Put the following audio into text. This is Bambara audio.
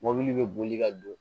Mɔbili bɛ boli ka don